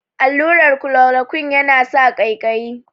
Allurar kolorokuine ya na sa ƙaiƙayi